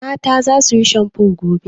Mata za su yi shamfo gobe.